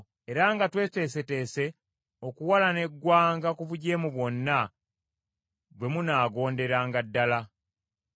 era nga tweteeseteese okuwalana eggwanga ku bujeemu bwonna, bwe munaagonderanga ddala.